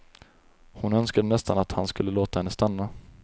Hon önskade nästan att han skulle låta henne stanna.